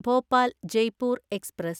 Bhopal Jaipur express